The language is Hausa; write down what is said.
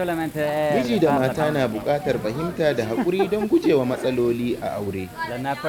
Miji da mata na buƙatar fahimta da haƙuri don gujewa matsaloli a aure.